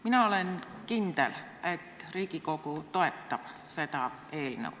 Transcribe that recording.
Mina olen kindel, et Riigikogu toetab seda eelnõu.